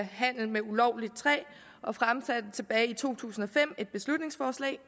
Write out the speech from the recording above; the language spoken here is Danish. handel med ulovligt træ og fremsatte tilbage i to tusind og fem et beslutningsforslag